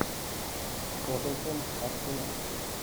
тоттенхэм арсенал